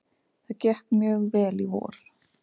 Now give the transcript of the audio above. Það gekk mjög vel í vor.